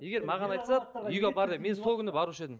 егер маған айтса үйге апар деп мен сол күні барушы едім